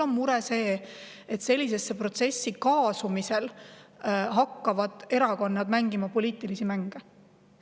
Minu mure on see, et sellisesse protsessi kaasumisel hakkavad erakonnad mängima poliitilisi mänge.